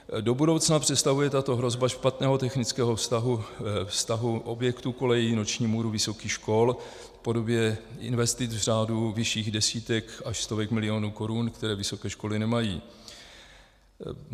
Do budoucna představuje tato hrozba špatného technického stavu objektů kolejí noční můru vysokých škol v podobě investic v řádu vyšších desítek až stovek milionů korun, které vysoké školy nemají.